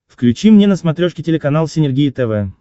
включи мне на смотрешке телеканал синергия тв